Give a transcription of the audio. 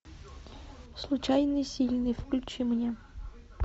случайный сильный включи мне